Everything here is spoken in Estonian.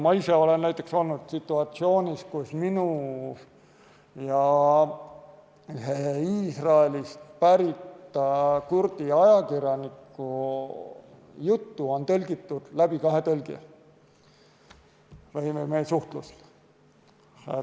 Ma ise olen näiteks olnud situatsioonis, kus minu ja ühe Iisraelist pärit kurdi ajakirjaniku juttu tõlgiti kahe tõlgi kaudu.